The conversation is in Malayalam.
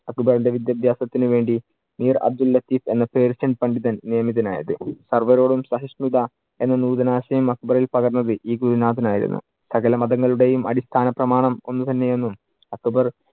അക്ബറിന്‍റെ വിദ്യാഭാസത്തിനു വേണ്ടി മീര്‍ അബ്ദുൽ ലത്തീഫ് എന്ന പേർഷ്യൻ പണ്ഡിതൻ നിയമിതനായത്. സർവ്വരോടും സഹിഷ്ണുത എന്ന നൂതനാശയം അക്ബറിൽ പകർന്നത് ഈ ഗുരുനാഥൻ ആയിരുന്നു. സകല മതങ്ങളുടെയും അടിസ്ഥാന പ്രമാണം ഒന്ന് തന്നെ എന്നും അക്ബർ